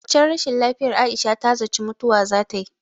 A waccen rashin lafiyar Aisha ta zaci mutuwa zatayi.